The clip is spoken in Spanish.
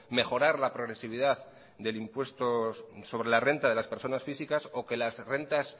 mejorar la progresividad del impuesto sobre la renta de las personas físicas o que las rentas